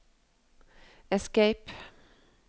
escape